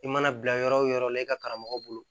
I mana bila yɔrɔ wo yɔrɔ la i ka karamɔgɔ bolo